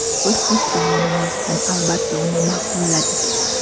Biz o‘z tomonimizdan, albatta, uni ma’qulladik.